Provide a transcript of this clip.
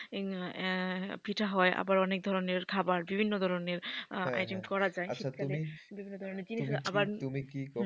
পিঠা হয় আবার অনেক ধরনের খাবার বিভিন্ন ধরনের item করা যায় শীতকালে বিভিন্ন ধরনের জিনিস। তুমি কি করো,